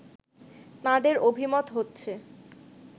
তাঁদের অভিমত হচ্ছে